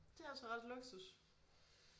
Det altså ret luksus